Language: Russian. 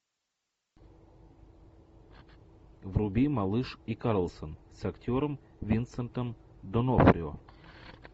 вруби малыш и карлсон с актером винсентом д онофрио